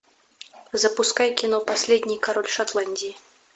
запускай кино последний король шотландии